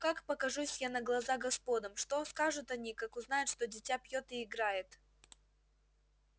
как покажусь я на глаза господам что скажут они как узнают что дитя пьёт и играет